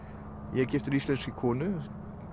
ég er giftur íslenskri konu